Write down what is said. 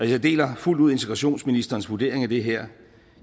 jeg deler fuldt ud integrationsministerens vurdering af det her